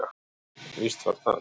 Víst var það.